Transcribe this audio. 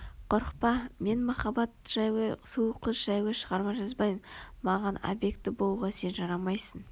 Қорықпа мен махаббат жайлы сұлу қыз жайлы шығарма жазбаймын маған объекті болуға сен жарамайсың